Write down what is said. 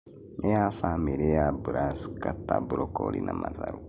Nĩya bamĩrĩ ya Brasika ta mbrocoli na matharũ.